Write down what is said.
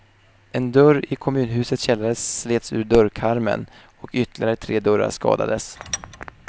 En dörr i kommunhusets källare slets ur dörrkarmen och ytterligare tre dörrar skadades.